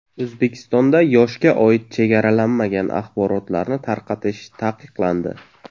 O‘zbekistonda yoshga oid chegaralanmagan axborotlarni tarqatish taqiqlandi.